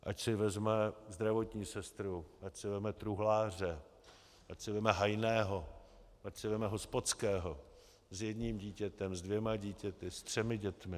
Ať si vezme zdravotní sestru, ať si vezme truhláře, ať si vezme hajného, ať si vezme hospodského s jedním dítětem, se dvěma dětmi, se třemi dětmi.